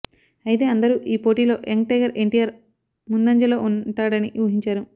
అయితే అందరూ ఈ పోటీలో యంగ్ టైగర్ ఎన్టీఆర్ ముందంజలో ఉంటాడని ఊహించారు